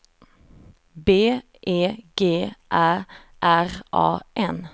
B E G Ä R A N